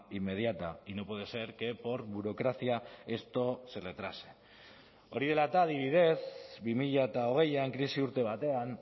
inmediata y no puede ser que por burocracia esto se retrase hori dela eta adibidez bi mila hogeian krisi urte batean